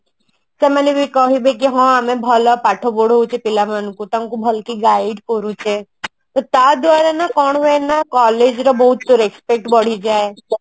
ସେମାନେ ବି କହିବେ କି ହଁ ଆମେ ଭଲ ପାଠ ପଢୋଉଛୁ ପିଲାମାନଙ୍କୁ ତାଙ୍କୁ ଭଲକି guide କରୁଚେ ତ ତା ଦ୍ଵାରା ନା କଣ ହୁଏ ନା collage ର ବହୁତ respect ବଢି ଯାଏ